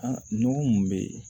A nɔgɔ mun be yen